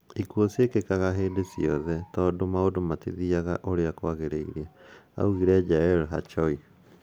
"Ikuo ciekìkaga hìndì ciothe tondu maundu matîthiaga ũrìa kwagìrìire",augire Jalel Harchaoui.